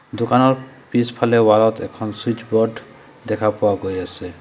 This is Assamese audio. দোকানত পিছফালে ৱাল ত এখন চুইছবোৰ্ড দেখা পোৱা গৈ আছে।